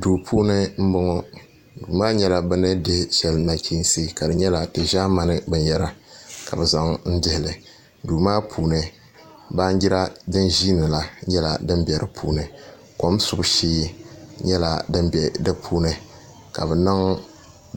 Duu puuni n bɔŋɔ duu maa nyɛla bi ni dihi nachiinsi ka di nyɛla di ʒaamani binyɛra ka bi zaŋ dihili duu maa puuni baanjira din ʒiindi la nyɛla din bɛ di puuni kom subu shee nyɛla din bɛ di puuni ka bi niŋ